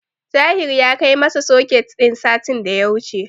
Tahir ya kai masap soket din satin da ya wuce.